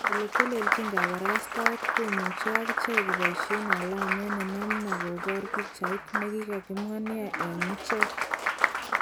Eletelelchin kaparastaet komuche akicheg koboishen alamet nenamna kobor pichait nekikimwa nia eng icheg.